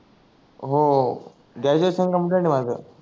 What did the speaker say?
हो हो graduation complete आहे माझ